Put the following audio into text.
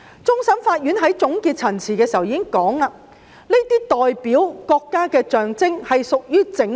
終審法院在判案書指出，"國旗是一個國家的象徵......